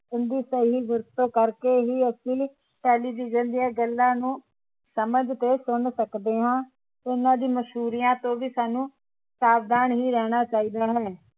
ਇਸਦੀ ਸਹੀ ਵਰਤੋਂ ਕਰਕੇ ਹੀ ਅਸੀ television ਦੀਆ ਗੱਲਾਂ ਨੂੰ ਸਮਝ ਤੇ ਸੁਨ ਸਕਦੇ ਹਾਂ ਉਹਨਾਂ ਦੀ ਮਸ਼ਹੂਰੀਆਂ ਤੋਂ ਵੀ ਸਾਨੂੰ ਸਾਵਧਾਨ ਹੀ ਰਹਿਣਾ ਚਾਹੀਦਾ ਹੈ